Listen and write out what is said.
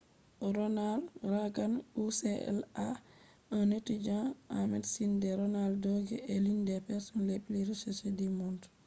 be adi jaamu hoto man yahugo medikal senta ronald reagan ucla ha totton diga ɓawo o maayi